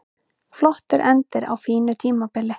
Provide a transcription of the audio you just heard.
Flottur endir á fínu tímabili